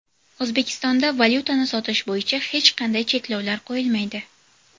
O‘zbekistonda valyutani sotish bo‘yicha hech qanday cheklovlar qo‘yilmaydi.